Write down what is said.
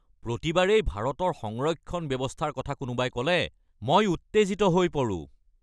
প্ৰতিবাৰেই ভাৰতৰ সংৰক্ষণ ব্যৱস্থাৰ কথা কোনোবাই ক'লে মই উত্তেজিত হৈ পৰোঁ।